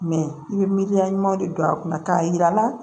Mɛ i bɛ miiriya ɲuman de don a kunna k'a yira la